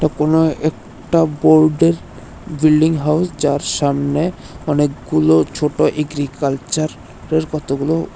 এ কোন একটা বোর্ডের বিলডিং হাউজ যার সামনে অনেকগুলো ছোট এগ্রিকালচার এর কতগুলো--